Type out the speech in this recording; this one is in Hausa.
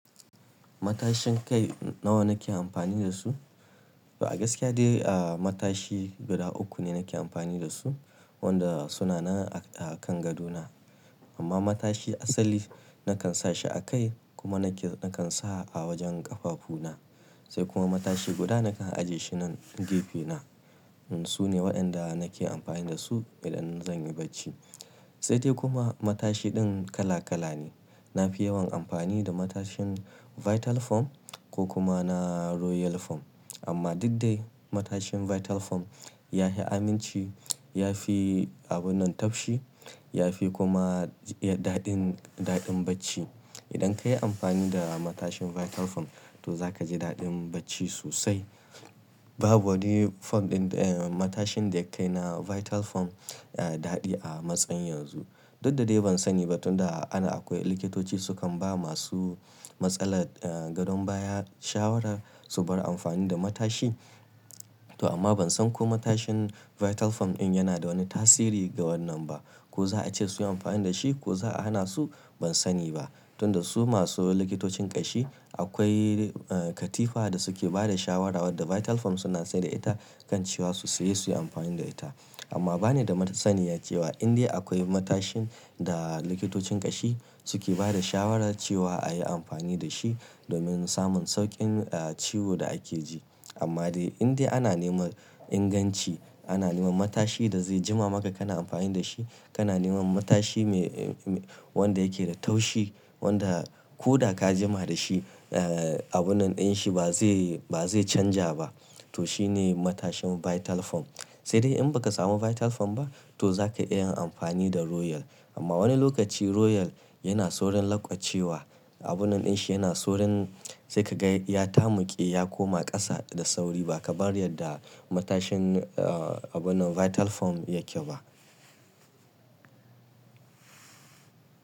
Matashin kai nawa nake amfani da su? A gaskiya dai, ah, matashi guda uku ne nake amfani da su, wanda suna nan a kan gadona. Amma matashi asali nakan sa shi a kai kuma nake nakan sa a wajen ƙafafuna. Sai kuma matashi guda nakan ajiye shi nan gefe na. Su ne waɗanda nake amfani da su idan zan yi bacci. Sai dai kuma matashiɗin kala kala ne. Na fi yawan amfani da matashin Vital Foam ko kuma na Royal Foam. Amma duk dai matashin Vital Foam ya fi aminci, ya fi abun nan tafshi, ya fi kuma, iya daɗin, daɗin bacci. Idan ka yi amfani da matashin Vital Foam, to za ka ji daɗin bacci sosai. Babu wani fom ɗin, eh, matashin da yake kai na Vital Foam, eh, daɗi a matsayin yanzu. Duk da dai ban sani ba tun da ana akwai likitoci su kan ba masu matsalar, eh, gadon baya shawara su bar amfani da matashi. To amma ban san ko matashin Vital Foam in yana da wani tasiri ga wannan ba. Ko za a ce su yi amfani da shi ko za a hana su? Ban sani ba. Tun da su masu likitocin ƙashi akwai, eh, katifa da suke ba da shawara wadda Vital Foam suna sai da ita kan cewa su saye su yi amfani da ita. Amma ba ni da masaniya cewa in dai akwai matashin da likitocin ƙashi suke ba da shawara cewa a yi amfani da shi domin samun sauƙin, eh, ciwo da ake ji. Amma dai in dai ana neman inganci, ana neman matashi da zai jima maka kana amfani da shi, kana neman matashi mai, wanda yake da taushi, wanda ko da ka jima da shi, eh, abun nan ɗin shi ba zai, ba zai canja ba. To shine matashin Vital Foam. Sai dai in baka samu Vital Foam ba, to zaka iya yin amfani da Royal. Amma wani lokaci Royal yana saurin lanƙwashewa. Abun nan ɗin shi yana saurin sai ka ga ya tamuƙe, ya koma ƙasa da sauri ba kamar yadda matashin, eh, abun nan Vital Foam yake ba.